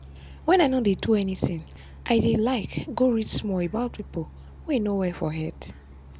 when i no dey do anything i dey like go read small about people wey no well for head.